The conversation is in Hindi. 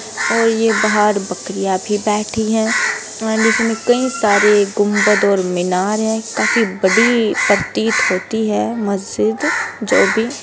और ये बाहर बकरियाँ भी बठी है बहुत सारे गुम्बद और मीनारें है काफी बड़ी प्रतीत होती है मस्जिद जो भी--